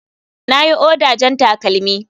Na yi oda jan takalmi.